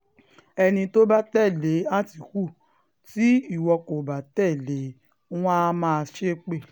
ẹni tó bá tẹ̀lé àtìkù tí ìwọ kò bá tẹ̀lé e wọ́n àá máa ṣépè